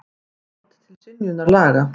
Vald til synjunar laga.